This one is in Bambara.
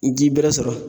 Ji bɛrɛ sɔrɔ